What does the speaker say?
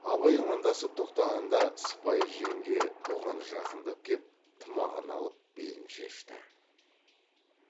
абай амандасып тоқтағанда сыпайы жеңге бұған жақындап кеп тымағын алып белін шешті